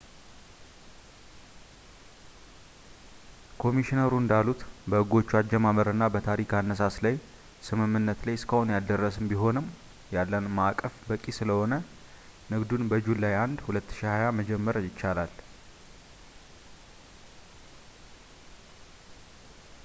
ኮሚሽነሮሩ እንዳሉት፣ በሕጎቹ አጀማመርና በታሪፍ አነሳስ ላይ ስምምነት ላይ እስካሁን ያልደረስን ቢሆንም ያለን ማዕቀፍ በቂ ስለሆነ ንግዱን በjuly 1 2020 መጀመር ይቻላል